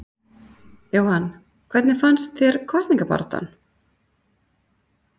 Jóhann: Hvernig fannst þér kosningabaráttan?